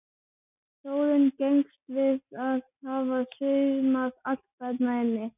Þórunn gengst við því að hafa saumað allt þarna inni.